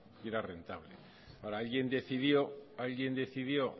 y era rentable alguien decidió